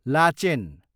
Lachen